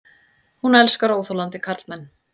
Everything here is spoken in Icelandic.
Hún elskar óþolandi karlmenn.